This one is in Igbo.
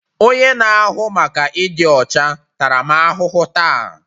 Onye na-ahụ maka ịdị ọcha tara m ahụhụ taa